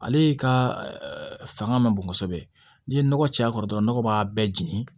Ale ka fanga man bon kosɛbɛ n'i ye nɔgɔ caya dɔrɔn nɔgɔ b'a bɛɛ jeni